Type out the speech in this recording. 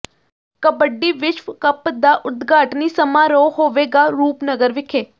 ਕਬੱਡੀ ਵਿਸ਼ਵ ਕੱਪ ਦਾ ਉਦਘਾਟਨੀ ਸਮਾਰੋਹ ਹੋਵੇਗਾ ਰੂਪਨਗਰ ਵਿਖੇ